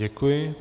Děkuji.